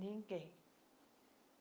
Ninguém.